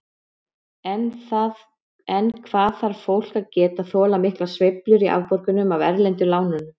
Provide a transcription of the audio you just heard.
En hvað þarf fólk að geta þolað miklar sveiflur í afborgunum af erlendu lánunum?